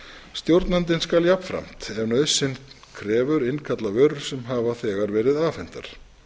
stjórnandinn skal jafnframt ef nauðsyn krefur innkalla vörur sem hafa þegar verið afhentar